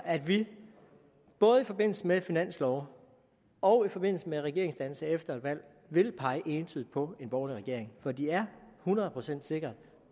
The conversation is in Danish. at vi både i forbindelse med finanslove og i forbindelse med regeringsdannelse efter et valg vil pege entydigt på en borgerlig regering for de er hundrede procent sikkert